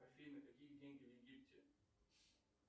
афина какие деньги в египте